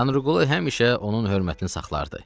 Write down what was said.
Tanrıqulu həmişə onun hörmətini saxlar idi.